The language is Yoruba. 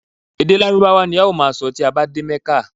Ede lárúbáwá ni a ó maa sọ ti a ba ti de mẹ́kà